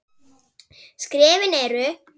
Skrefin eru